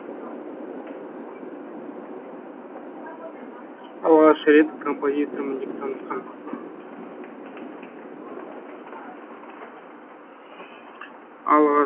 алғаш рет композитормын деп танысқан